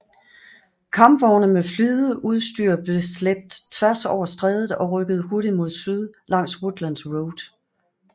Kampvogne med flydeudstyr blev slæbt tværs over strædet og rykkede hurtigt mod syd langs Woodlands Road